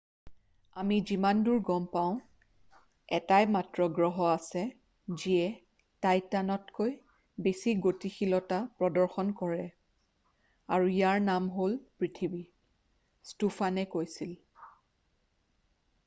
আমি যিমানদূৰ গম পাওঁ এটাই মাত্ৰ গ্ৰহ আছে যিয়ে টাইটানতকৈ বেছি গতিশীলতা প্ৰদৰ্শন কৰে আৰু ইয়াৰ নাম হ'ল পৃথিৱী ষ্টোফানে কৈছিল